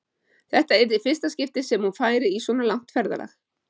Þetta yrði í fyrsta skipti sem hún færi í svona langt ferðalag.